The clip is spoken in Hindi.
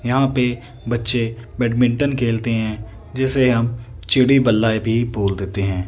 यहां पे बच्चे बैडमिंटन खेलते है जिसे हम चिड़ि बल्ला भी बोल देते हैं।